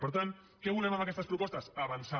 per tant què volem amb aquestes propostes avançar